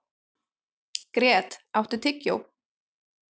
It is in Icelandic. Grét, áttu tyggjó?